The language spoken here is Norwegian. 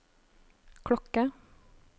klokke